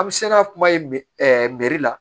An bɛ se ka kuma ye la